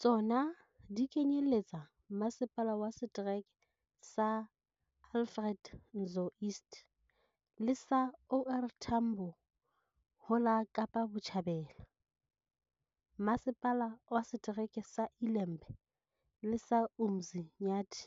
Tsona di kenyelletsa Masepala wa Setereke sa Alfred Nzo East le sa OR Tambo ho la Kapa Botjhabela, Masepala wa Se tereke sa ILembe le sa UMzi nyathi